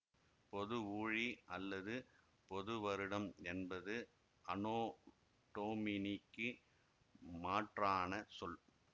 பொது ஊழி அல்லது பொதுவருடம் என்பது அனோ டொமினிக்கு மாற்றான சொல்